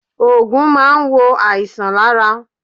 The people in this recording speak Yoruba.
Oògùn máa n wo àìsàn lára